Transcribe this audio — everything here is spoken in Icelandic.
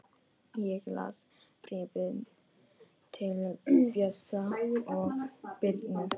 Ég las bréfin til Bjössa og Birnu.